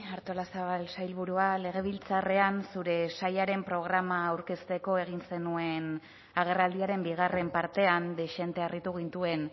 artolazabal sailburua legebiltzarrean zure sailaren programa aurkezteko egin zenuen agerraldiaren bigarren partean dezente harritu gintuen